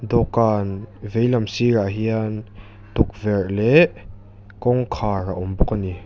dawhkân veilam sîrah hian tukverh leh kawngkhar a awm bawk a ni.